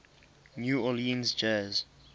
new orleans jazz